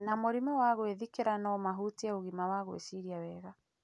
na mũrimũ wa gwĩthikĩra no mahutie ũgima wa gwĩciria wega.